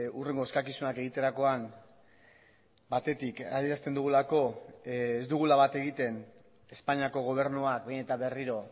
hurrengo eskakizunak egiterakoan batetik adierazten dugulako ez dugula bat egiten espainiako gobernuak behin eta berriro